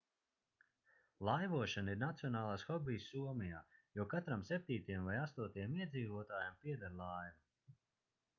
laivošana ir nacionālais hobijs somijā jo katram septītajam vai astotajam iedzīvotājam pieder laiva